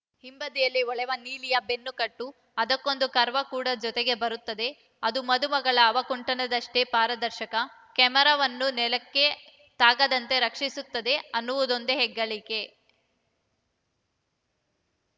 ಹಿಂಬದಿಯಲ್ಲಿ ಹೊಳೆವ ನೀಲಿಯ ಬೆನ್ನುಕಟ್ಟು ಅದಕ್ಕೊಂದು ಕರ್ವ ಕೂಡ ಜೊತೆಗೇ ಬರುತ್ತದೆ ಅದು ಮದುಮಗಳ ಅವಕುಂಠನದಷ್ಟೇ ಪಾರದರ್ಶಕ ಕ್ಯಾಮರಾವನ್ನು ಅದು ನೆಲಕ್ಕೆ ತಾಗದಂತೆ ರಕ್ಷಿಸುತ್ತದೆ ಅನ್ನುವುದೊಂದೆ ಹೆಗ್ಗಳಿಕೆ